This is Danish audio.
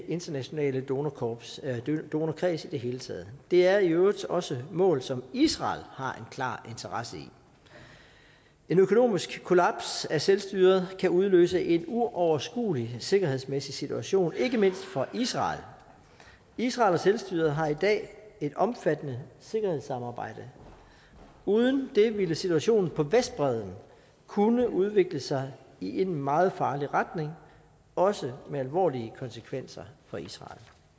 internationale donorkreds donorkreds i det hele taget det er i øvrigt også mål som israel har en klar interesse i en økonomisk kollaps af selvstyret kan udløse en uoverskuelig sikkerhedsmæssig situation ikke mindst for israel israel og selvstyret har i dag et omfattende sikkerhedssamarbejde uden det ville situationen på vestbredden kunne udvikle sig i en meget farlig retning også med alvorlige konsekvenser for israel